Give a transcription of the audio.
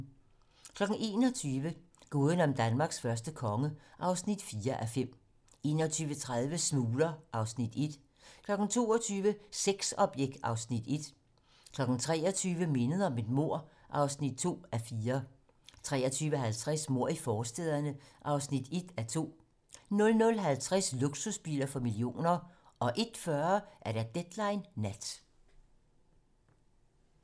21:00: Gåden om Danmarks første konge (4:5) 21:30: Smugler (Afs. 1) 22:00: Sexobjekt (Afs. 1) 23:00: Mindet om et mord (2:4) 23:50: Mord i forstæderne (1:2) 00:50: Luksusbiler for millioner 01:40: Deadline nat